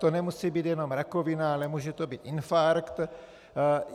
To nemusí být jenom rakovina, ale může to být infarkt.